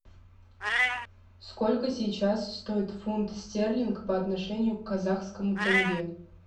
сколько сейчас стоит фунт стерлинг по отношению к казахскому тенге